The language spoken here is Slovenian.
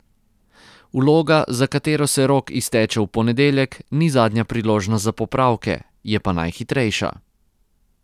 Vloga, za katero se rok izteče v ponedeljek, ni zadnja priložnost za popravke, je pa najhitrejša.